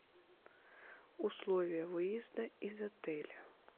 условия выезда из отеля